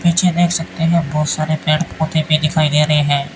पीछे देख सकते हैं बहुत सारे पेड़ पौधे भी दिखाई दे रहे हैं।